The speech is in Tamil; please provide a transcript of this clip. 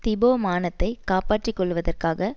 திபோ மானத்தைக் காப்பாற்றி கொள்ளுவதற்காக